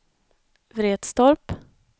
Vretstorp